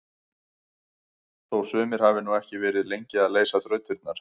Þó sumir hafi nú ekki verið lengi að leysa þrautirnar!